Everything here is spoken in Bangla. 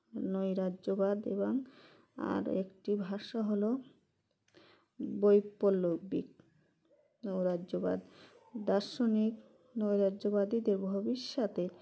নৈরাজ্যবাদ এবং আর একটি ভাষ্য হলো বৈপলবিক নৈরাজ্যবাদ দার্শনিক নৈরাজ্যবাদীদের ভবিষ্যতে